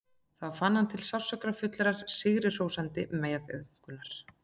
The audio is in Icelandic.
Þá fann hann til sársaukafullrar, sigrihrósandi meðaumkunar.